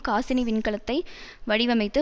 காசினி விண்கலத்தை வடிவமைத்து